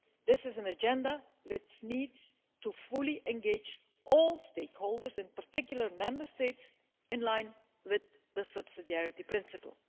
This is an agenda which needs to fully engage all stakeholders, in particular Member States, in line with the subsidiarity principle.